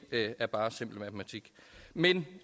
er bare simpel matematik men